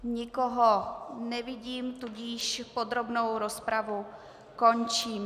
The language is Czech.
Nikoho nevidím, tudíž podrobnou rozpravu končím.